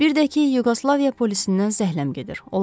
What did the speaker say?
Bir də ki, Yuqoslaviya polisindən zəhləm gedir.